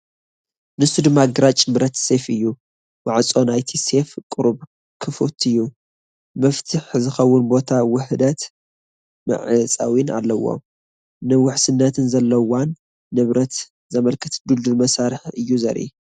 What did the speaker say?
ንሱ ድማ ግራጭ ብረት ሴፍ እዩ። ማዕጾ ናይቲ ሴፍ ቁሩብ ክፉት እዩ። መፍትሕ ዝኸውን ቦታን ውህደት መዕጸዊን ኣለዎ። ንውሕስነትን ሓለዋን ንብረት ዘመልክት ድልዱል መሳርሒ እዩ ዘርኢ።